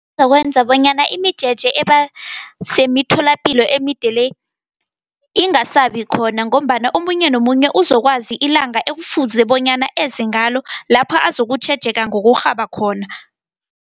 Kuzokwenza bonyana imijeje eba semitholapilo emide le, ingasabikhona, ngombana omunye nomunye uzokwazi ilanga ekufuze bonyana ezengalo, lapha azokutjhejeka ngokurhaba khona.